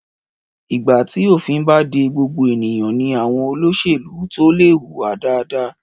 Ìgbà tí òfin bá de gbogbo ènìyàn ní àwọn olóṣèlú tó lè hùwà dáadáa.